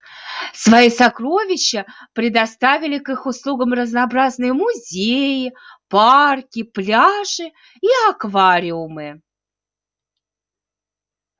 свои сокровища предоставили к их услугам разнообразные музеи парки пляжи и аквариумы